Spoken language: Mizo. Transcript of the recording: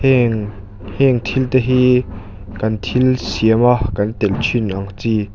heng heng thil te hi kan thil siama kan telh thin ang chi --